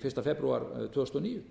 fyrsta febrúar tvö þúsund og níu